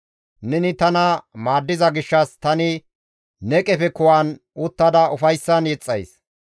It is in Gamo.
Neni tana maaddiza gishshas tani ne qefe kuwan uttada ufayssan yexxays.